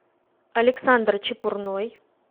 александр чепурной